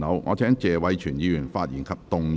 我請謝偉銓議員發言及動議議案。